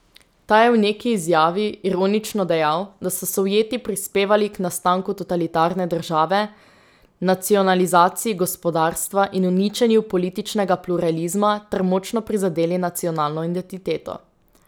Ta je v neki izjavi, ironično, dejal, da so Sovjeti prispevali k nastanku totalitarne države, nacionalizaciji gospodarstva in uničenju političnega pluralizma ter močno prizadeli nacionalno identiteto.